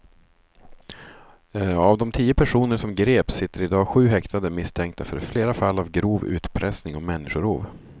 Av de tio personer som greps sitter i dag sju häktade misstänkta för flera fall av grov utpressning och människorov.